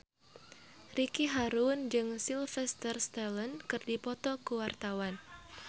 Ricky Harun jeung Sylvester Stallone keur dipoto ku wartawan